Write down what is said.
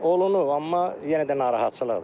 Olunub amma yenə də narahatçılıqdır.